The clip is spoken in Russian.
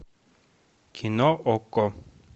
кино окко